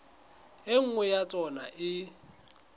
e nngwe ya tsona e